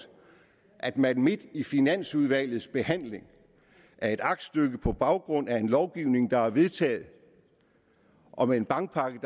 at man midt i finansudvalgets behandling af et aktstykke på baggrund af en lovgivning der er vedtaget og en bankpakke